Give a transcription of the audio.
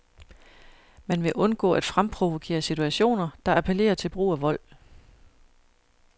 Man vil undgå at fremprovokere situationer, der appellerer til brug af vold.